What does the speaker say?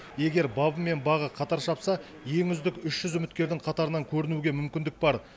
егер бабы мен бағы қатар шапса ең үздік үш жүз үміткердің қатарынан көрінуге мүмкіндік бар